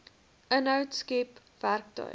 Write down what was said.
inhoud skep werktuie